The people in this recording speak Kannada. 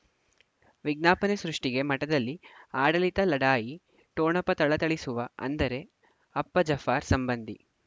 ವಿಜ್ಞಾಪನೆ ಸೃಷ್ಟಿಗೆ ಮಠದಲ್ಲಿ ಆಡಳಿತ ಲಢಾಯಿ ಠೊಣಪ ಥಳಥಳಿಸುವ ಅಂದರೆ ಅಪ್ಪ ಜಫರ್ ಸಂಬಂಧಿ